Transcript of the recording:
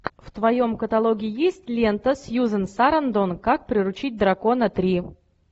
в твоем каталоге есть лента сьюзен сарандон как приручить дракона три